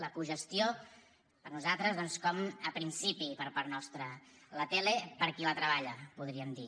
la cogestió per a nosaltres doncs com a principi per part nostra la tele per a qui la treballa podríem dir